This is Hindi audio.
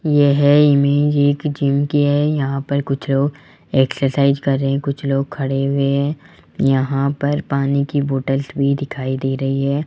यह इमेज एक जिम की है यहां पर कुछ लोग एक्सरसाइज कर रहे हैं कुछ लोग खड़े हुए हैं यहां पर पानी की बॉटल्स भी दिखाई दे रही है।